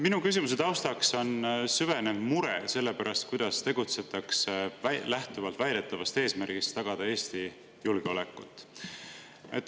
Minu küsimuse taustaks on süvenev mure selle pärast, kuidas tegutsetakse lähtuvalt väidetavast eesmärgist tagada Eesti julgeolekut.